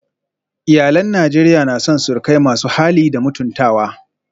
Iyalan Najeriya na son surukai masu hali da mutuntawa